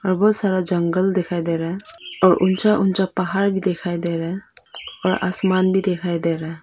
और बहुत सारा जंगल दिखाई दे रहा है और ऊंचा ऊंचा पहाड़ भी दिखाई दे रहा है और आसमान भी दिखाई दे रहा है।